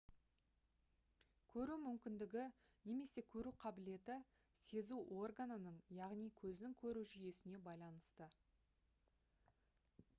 көру мүмкіндігі немесе көру қабілеті сезу органының яғни көздің көру жүйесіне байланысты